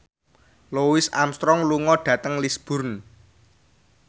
Louis Armstrong lunga dhateng Lisburn